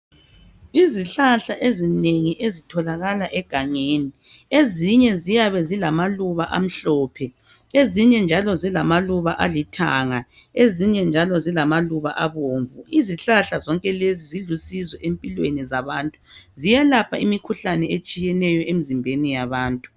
Izihlahla ezinengi ezitholakala egangeni. Ezinye ziyabe zilamaluba amhlophe. Ezinye njalo zilamaluba alithanga. Ezinye njalo zilamaluba abomvu. Izihlahla zonke lezi zilusizo emphilweni zabantu. Ziyelapha imikhuhlane etshiyeneyo emzimbeni yabantu.